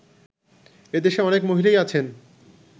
এদেশে অনেক মহিলাই আছেন